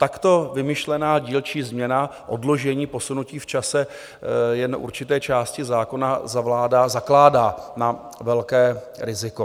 Takto vymyšlená dílčí změna odložení, posunutí v čase jen určité části zákona zakládá na velké riziko.